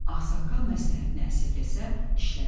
Ağsaqqal məsləhətinə əsirgəsə işləri aşmayacaq.